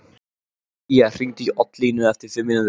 Sía, hringdu í Oddlínu eftir fimm mínútur.